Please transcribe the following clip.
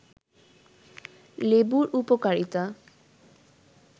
লেবুর উপকারিতা